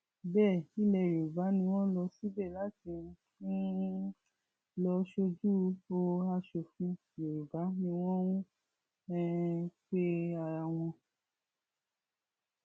bẹẹ ilẹ yorùbá ni wọn lọ síbẹ láti um lọọ sójú o asòfin yorùbá ni wọn ń um pe ara wọn